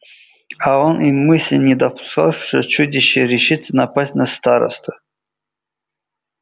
а он и мысли не допускал что чудище решится напасть на старосту